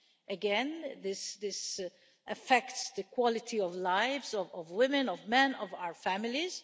Again, this affects the quality of lives of women, of men, of our families.